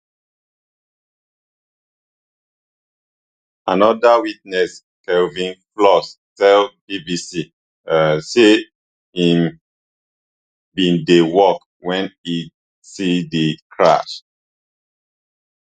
anoda witness kelvin flores tell bbc um say im bin dey work wen e see di crash